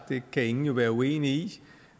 det kan ingen være uenige i